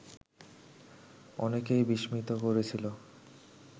অনেকেই বিস্মিত করেছিল